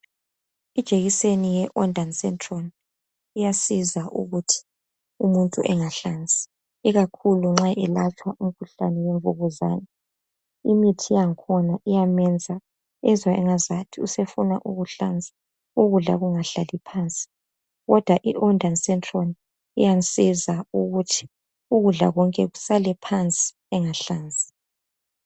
Ijekiseni ye Ondansetron iyasiza ukuthi umuntu engahlanzi, ikakhulu nxa elatshwa umkhuhlane wemvukuzane imithi yang'khona iyamenza ezwe engazathi usefuna ukuhlanza ukudla kungahlali phansi kodwa i Ondansetron iyamsiza ukuthi ukudla konke kusale phansi engahlanzi